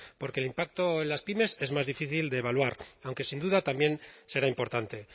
porque el impacto en las pymes es más difícil de evaluar aunque sin duda también será importante